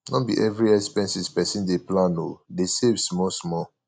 no be every expenses pesin dey plan o dey save smallsmall